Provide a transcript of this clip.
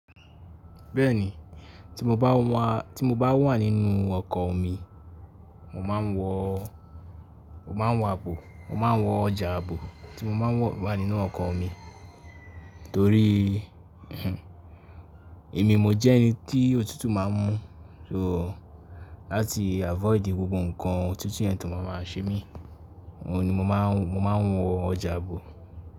Bẹ́ẹ̀ni, tí mo bá wà nínú ọkọ̀ omi, mo máa ń wọ àbò, mo máa ń wọ ọjà àbò tí mo bá wà nínú ọkọ̀ omi torí èmi mo jẹ́ ẹni tí òtútù máa ń mú. So láti avoid gbogbo ǹkan òtútù yẹn tó máama ń ṣe mí, òun ni mo máa ń wọ ọjà àbò.